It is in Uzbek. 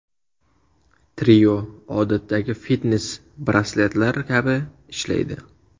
Trio odatdagi fitnes-brasletlar kabi ishlaydi.